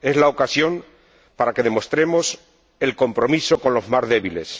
Es la ocasión para que demostremos el compromiso con los más débiles.